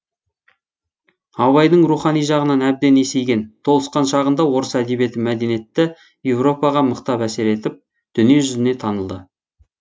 абайдың рухани жағынан әбден есейген толысқан шағында орыс әдебиеті мәдениетті европаға мықтап әсер етіп дүние жүзіне танылды